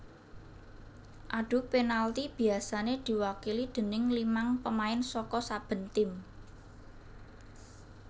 Adu penalti biasané diwakili déning limang pemain saka saben tim